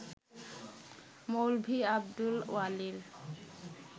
মৌলভি Abdul ওয়ালির